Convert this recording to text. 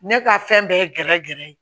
Ne ka fɛn bɛɛ ye gɛrɛ gɛrɛ ye